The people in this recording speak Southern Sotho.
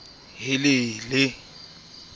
le dioli di na le